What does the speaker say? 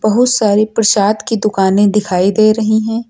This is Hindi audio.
बहुत सारी प्रसाद की दुकानें दिखाई दे रही हैं।